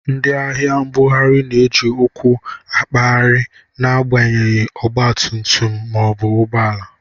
Ndi ahia mbughari na eji ụkwụ akpaghari na abanyeghi ọgba tum-tum ma obu ụgbọala.